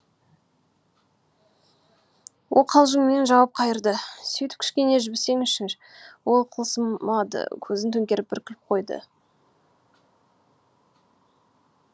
ол қалжыңмен жауап қайырды сөйтіп кішкене жібісеңізші ол қылымсымады көзін төңкеріп бір күліп қойды